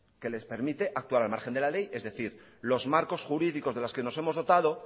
que les permite actuar al margen de la ley es decir los marcos jurídicos de los que nos hemos dotado